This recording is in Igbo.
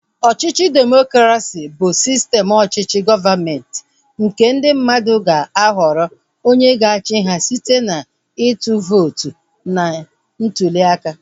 Ọchịchị demokresi bụ sistem ọchịchị gọọmenti nke ndị mmadụ ga-ahọrọ onye ga-achị ha site na ịtụ vootu na ntuliaka